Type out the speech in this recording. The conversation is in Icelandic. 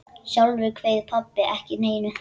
Sjálfur kveið pabbi ekki neinu.